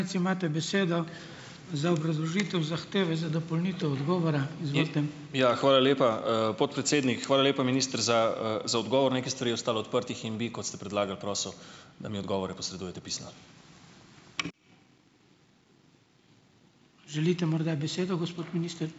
Ja, hvala lepa, podpredsednik. Hvala lepa, minister, za, za odgovor. Nekaj stvari je ostalo odprtih in bi, kot ste predlagali, prosil, da mi odgovore posredujete pisno.